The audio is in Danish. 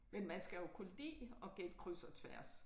Men man skal jo kunne lide at gætte kryds og tværs